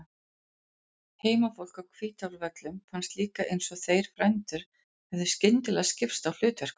Heimafólki á Hvítárvöllum fannst líka eins og þeir frændur hefðu skyndilega skipt á hlutverkum.